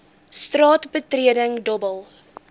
straat betreding dobbel